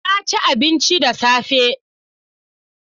Na ci abinci da safe.